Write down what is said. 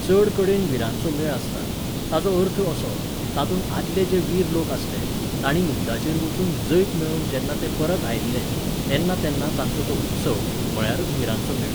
चडकडेन विरांचो मेळ आसता. ताचो अर्थ असो, तातूंत आदले जे वीर लोक आसले, तांणी युद्धाचेर वचून जैत मेळोवन जेन्ना ते परत आयल्ले, तेन्ना तेन्ना तांचो तो उत्सव, म्हळ्यारच विरांचो मेळ